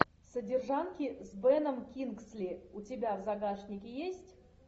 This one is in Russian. содержанки с беном кингсли у тебя в загашнике есть